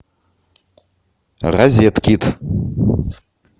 розеткед